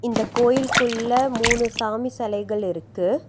அந்தக் கோயிலுக்குள்ள மூணு சாமி சிலைகள் இருக்கு.